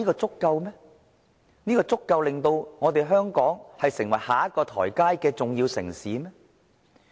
這足以令到香港成為下一個發展階段裏的重要城市嗎？